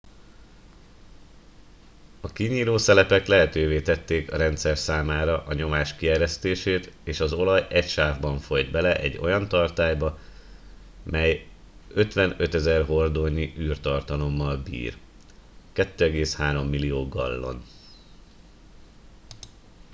a kinyíló szelepek lehetővé tették a rendszer számára a nyomás kieresztését és az olaj egy sávban folyt bele egy olyan tartályba mely 55 000 hordónyi űrtartalommal bír 2,3 millió gallon